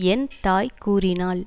ஏன் தாய் கூறினால்